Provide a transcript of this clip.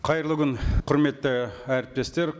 қайырлы күн құрметті әріптестер